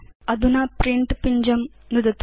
अधुना प्रिंट पिञ्जं नुदतु